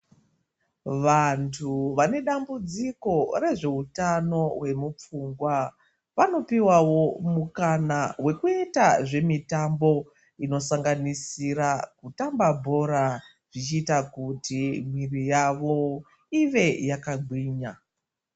Vantu vane dambudziko re zveutano wemu pfungwa vano piwawo mukana wekuita zvemitambo inosanganisira kutamba bhora zvichiita kuti mwiri yavo inge yaka gwinya.